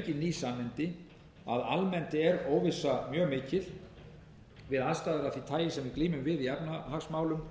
ný sannindi að almennt er óvissa mjög mikil við aðstæður af því tagi sem við glímum við í efnahagsmálum